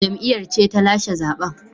Jam’iyyar ce ta lashe zaben